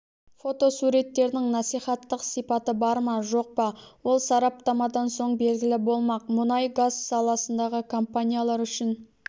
фотосуреттердің насихаттық сипаты бар ма жоқ па ол сараптамадан соң белгілі болмақ мұнай-газ саласындағы компаниялар үшін